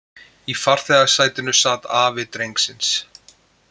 Í farþegasætinu sat afi drengsins